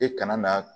E kana na